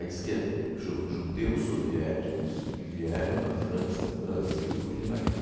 Aí diz que é ju judeus soviéticos que vieram da França para o Brasil fugindo da guerra.